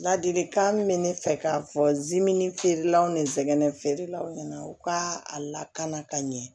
Ladilikan min bɛ ne fɛ k'a fɔ zimini feerelaw ni nsɛgɛn feerelaw ɲɛna u ka a lakana ka ɲɛ